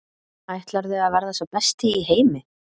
Ætlarðu að verða sá besti í heimi?